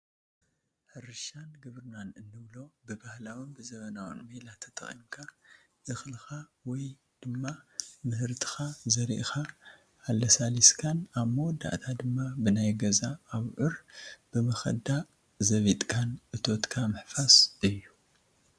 ሕርሻን ግብርናን እንብሎ ብባህላውን ብዘበናውን ሜላ ተጠቒምካ እኽልኻ ወይ ድማ ምህርትኻ ዘሪእኻ ኣለሳሊስካን ኣብ መወዳእታ ድማ ብናይ ገዛ ኣቡዑር ብመኸጃ ዘቢጥካን እቶትካ ምሕፋስ እዩ፡፡